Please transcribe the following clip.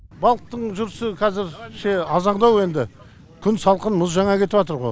балықтың жүрісі қазірше арзандау енді күн салқын мұз жаңа кетіватыр ғо